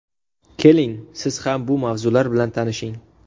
Keling, siz ham bu mavzular bilan tanishing.